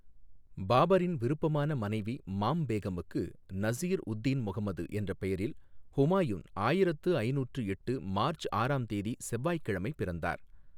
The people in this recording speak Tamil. பாபரின் விருப்பமான மனைவி மாம் பேகமுக்கு நசீர் உத் தின் முகமது என்ற பெயரில் ஹுமாயூன் ஆயிரத்து ஐநூற்று எட்டு மார்ச் ஆறாம் தேதி செவ்வாய்க்கிழமை பிறந்தார்.